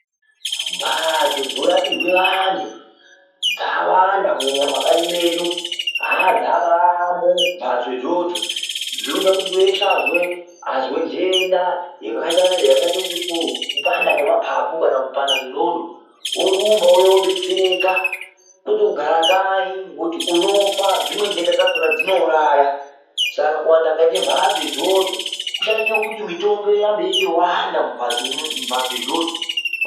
Mbatso dzorapirwe vantu dzawanda kunyanya mumakanyi medu aaaa dzabamo mbatso idzodzo dzinoita kuti weshe wazwe azwe ndenda yakaite chipu kupanda kwemapapu kana kupanda kwendxondo orumba ouya odetsereka kwete kugara kanyi ngokuti unofa ngekuti dzimweni ndenda dzakona dzinouraya Saka kuwanda Katie mbatso idzodzo kuchaite kuti mitombowo irambe yeipanda mumbatso idzodzo.